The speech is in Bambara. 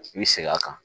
I bi segin a kan